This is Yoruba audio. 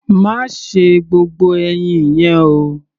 Má se gbogbo ẹyin yẹn o!